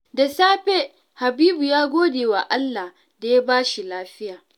Da safe, Habibu ya gode wa Allah da ya ba shi lafiya.